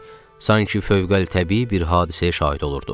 Sanki fövqəltəbii bir hadisəyə şahid olurduq.